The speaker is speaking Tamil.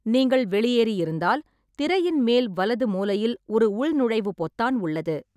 நீங்கள் வெளியேறியிருந்தால், திரையின் மேல் வலது மூலையில் ஒரு உள்நுழைவு பொத்தான் உள்ளது.